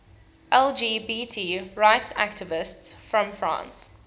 lgbt rights activists from france